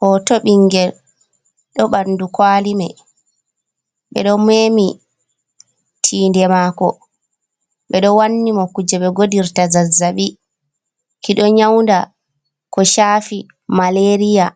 hoto bingel do bandu kwalimai ,be do memi tiinde mako bedo wanni mo kuje be godirta zazzabi ki do nyaunda ko chafi malariya.